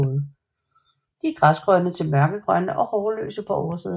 De er græsgrønne til mørkegrønne og hårløse på oversiden